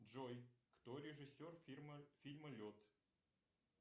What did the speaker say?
джой кто режиссер фильма лед